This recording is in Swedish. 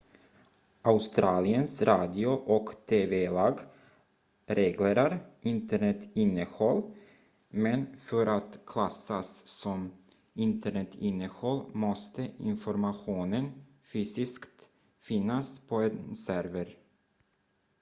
australiens radio- och tv-lag reglerar internetinnehåll men för att klassas som internetinnehåll måste informationen fysiskt finnas på en server